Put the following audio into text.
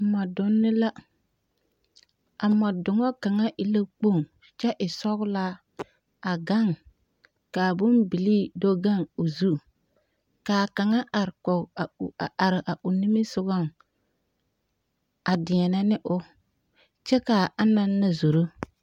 Mͻdonne la, a mͻdoŋa kaŋa e la kpoŋ kyԑ e sͻgelaa a gaŋe ka a bombilii do gaŋe o zu. Ka a kaŋa are kͻge a o a are a o nimisogͻŋ a deԑnԑ ne o, kyԑ ka anaŋ na zoro.